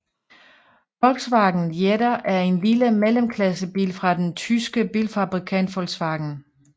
Volkswagen Jetta er en lille mellemklassebil fra den tyske bilfabrikant Volkswagen